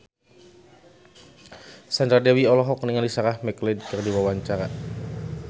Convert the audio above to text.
Sandra Dewi olohok ningali Sarah McLeod keur diwawancara